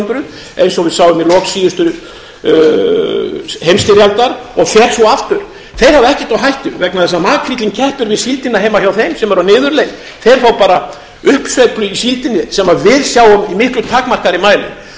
hundruð eins og við sáum í lok síðustu heimsstyrjaldar og fer svo aftur þeir hafa ekkert á hættu vegna þess að makríllinn keppir við síldina heima hjá þeim sem er á niðurleið þeir fá bara uppsveiflu í síldinni sem við sjáum í miklu takmarkaðri mæli